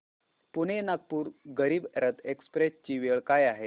Pune Nagpur Garib Rath express ची वेळ काय आहे